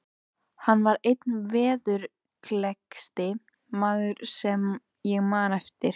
Hann var einn veðurgleggsti maður sem ég man eftir.